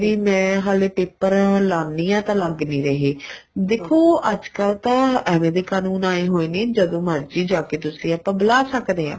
ਵੀ ਮੈਂ ਹਲੇ paper ਲਾਨੀ ਆ ਤਾਂ ਲੱਗ ਨਹੀਂ ਰਹੇ ਦੇਖੋ ਅੱਜ ਕੱਲ ਤਾਂ ਐਵੇ ਦੇ ਕਾਨੂੰਨ ਆਏ ਹੋਏ ਨੇ ਜਦੋਂ ਮਰਜੀ ਜਾਕੇ ਤੁਸੀਂ ਆਪਾਂ ਬੂਲਾ ਸਕਦੇ ਆ